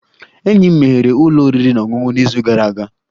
Enyi m meghere ụlọ oriri na ọṅụṅụ n'izu gara aga